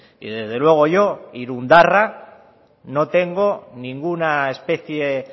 y desde luego yo irundarra no tengo ninguna especie